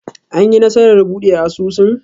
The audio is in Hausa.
An yi nasarar buɗe asusun?